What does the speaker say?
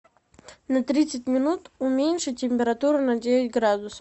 на тридцать минут уменьшить температуру на девять градусов